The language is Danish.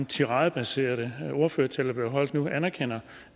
tiradebaserede ordførertale der blev holdt nu anerkender